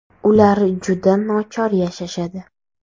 Ular juda nochor yashashadi.